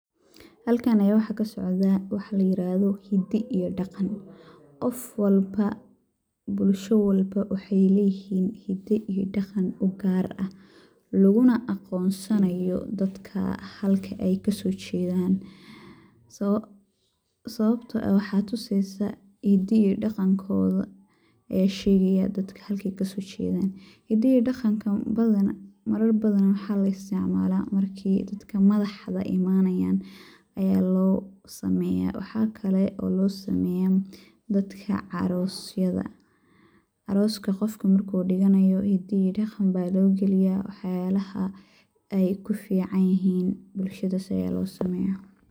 Halkan ayaa waxaa ka socdaa waxa la yiraahdo ,hidda iyo dhaqan ,qof walba ,bulasha walba waxey leyihiin hidda iyo dhaqan u gaar ah, laguna aqoonsanayo dadkaa halka ay kasoo jedaan . Sawabtoo ah ,waxaad tuseysaa hidda iyo dhaqankooda ayaa shegayaa dadkaan ,halka ay kasoo jedaan .Hidda iyo dhaqanka badanaa waxaa la isticmalaa markii madaxda imanayaan ayaa loo sameyaa ,waxa kale oo loo sameyaa dadka carosyada . Aroska qofka markuu dhiganayo hidda iyo dhaqan baa loo galiyaa ,waxyalaha ay ku fiican yihiin bulshadaas ayaa loo sameyaa.